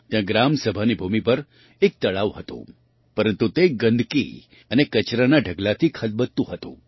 ત્યાં ગ્રામ સભાની ભૂમિ પર એક તળાવ હતું પરંતુ તે ગંદકી અને કચરાના ઢગલાથી ખદબદતું હતું